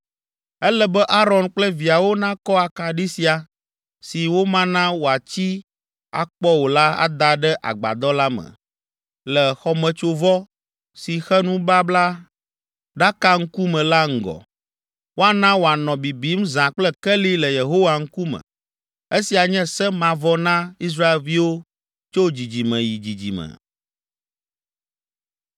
Ele be Aron kple viawo nakɔ akaɖi sia, si womana wòatsi akpɔ o la ada ɖe agbadɔ la me, le xɔmetsovɔ, si xe nublaɖaka ŋkume la ŋgɔ. Woana wòanɔ bibim zã kple keli le Yehowa ŋkume. Esia nye se mavɔ na Israelviwo tso dzidzime yi dzidzime.